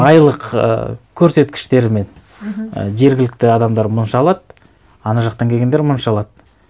айлық і көрсеткіштерімен мхм жергілікті адамдар мынанша алады ана жақтан келгендер мынанша алады